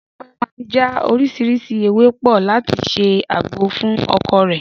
Dúpẹ́ máa já oríṣiríṣi ewé pọ̀ láti ṣe àgbo fún ọkọ rẹ̀